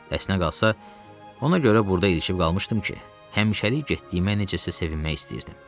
Əsnə qalsa, ona görə burda ilişib qalmışdım ki, həmişəlik getdiyimə necəəsə sevinmək istəyirdim.